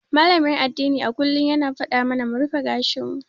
Malamin addini a kullum yana faɗa mana mu rufe gashin mu.